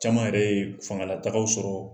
Caman yɛrɛ ye fangala taagaw sɔrɔ